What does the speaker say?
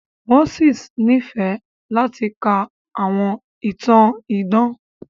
Mósè nífẹ̀ẹ́ láti ka àwọn ìtàn idán.